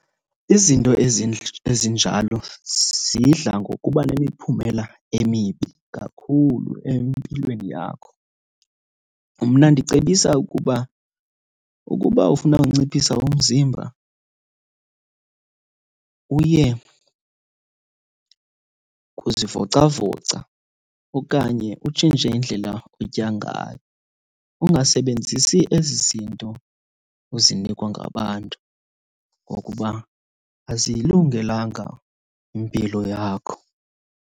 Izinto ezinjalo zidla ngokuba nemiphumela emibi kakhulu empilweni yakho. Mna ndicebisa ukuba, ukuba ufuna unciphisa umzimba uye kuzivocavoca okanye utshintshe indlela otya ngayo. Ungasebenzisi ezi zinto uzinikwa ngabantu ngokuba aziyilungelanga impilo yakho.